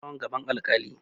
An kawo ɓarawon gaban alkali.